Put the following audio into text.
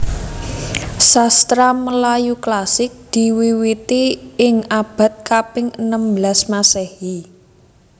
Sastra Melayu klasik diwiwiti ing abad kaping enem belas Masehi